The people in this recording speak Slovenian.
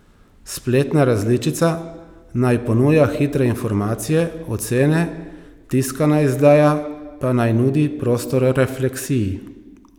Spletna različica naj ponuja hitre informacije, ocene, tiskana izdaja pa naj nudi prostor refleksiji.